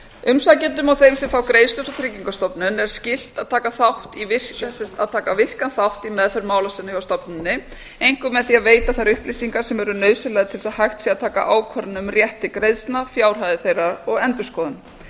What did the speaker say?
umsækjendum og þeim sem fá greiðslur frá tryggingastofnun er skylt að taka virkan þátt í meðferð mála sinna hjá stofnuninni einkum með því að veita þær upplýsingar sem eru nauðsynlegar til þess að hægt sé að taka ákvörðun um rétt til greiðslna fjárhæðir þeirra og endurskoðun má